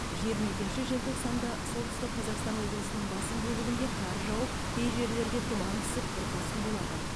жиырма екінші желтоқсанда солтүстік қазақстан облысының басым бөлігінде қар жауып кей жерлерге тұман түсіп бұрқасын болады